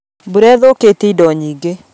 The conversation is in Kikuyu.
Mbura ĩthũkĩtie indo nyingĩ